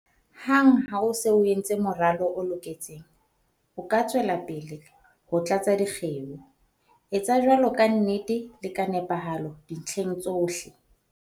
Hang ha o se o entse moralo o loketseng, o ka tswela pele ho tlatsa dikgeo. Etsa jwalo ka nnete le ka nepahalo dintlheng tsohle.